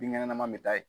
Binkɛnɛma bɛ taa yen